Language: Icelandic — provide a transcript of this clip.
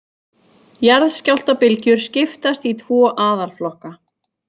Jarðskjálftabylgjur skiptast í tvo aðalflokka.